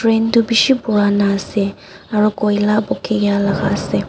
Train tuh beshi purana ase aro koila bughi la ase.